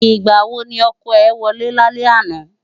Nigbá wó ni òkò è wòlè lálè àná?